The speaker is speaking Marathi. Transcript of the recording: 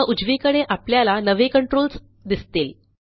आता उजवीकडे आपल्याला नवे कंट्रोल्स दिसतील